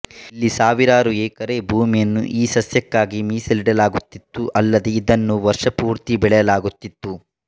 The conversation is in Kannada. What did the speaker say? ಇಲ್ಲಿ ಸಾವಿರಾರು ಎಕರೆ ಭೂಮಿಯನ್ನು ಈ ಸಸ್ಯಕ್ಕಾಗಿ ಮೀಸಲಿಡಲಾಗುತ್ತಿತ್ತು ಅಲ್ಲದೇ ಇದನ್ನು ವರ್ಷಪೂರ್ತಿ ಬೆಳೆಯಲಾಗುತ್ತಿತ್ತು